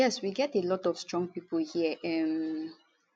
yes we get a lot of of strong pipo here um